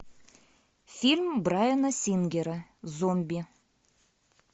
фильм брайана сингера зомби